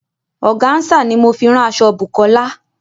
Ọ̀gànsà ní mo fi rán aṣọ̀ Bùkọ́lá.